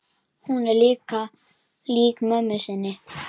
Hún er lík mömmu sinni.